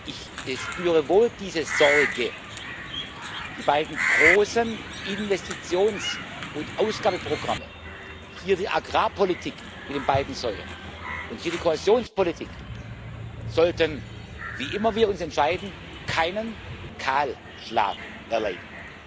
weil ich wohl diese Sorge spüre Die beiden großen Investitions und Ausgabenprogramme, hier die Agrarpolitik mit beiden Säulen und hier die Kohäsionspolitik, sollten wie immer wir uns entscheiden keinen Kahlschlag erleiden.